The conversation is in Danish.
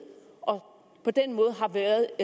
og på den måde har været